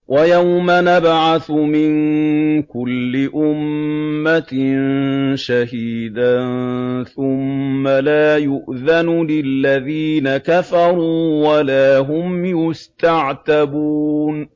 وَيَوْمَ نَبْعَثُ مِن كُلِّ أُمَّةٍ شَهِيدًا ثُمَّ لَا يُؤْذَنُ لِلَّذِينَ كَفَرُوا وَلَا هُمْ يُسْتَعْتَبُونَ